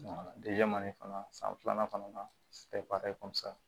fana san filanan kɔnɔna na i komi sisan